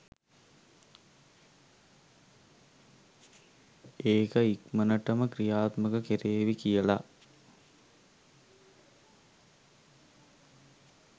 ඒක ඉක්මනටම ක්‍රියාත්මක කෙරේවි කියල